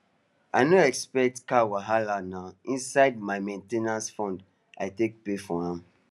i no expect car wahalana inside my main ten ance fund i take pay for am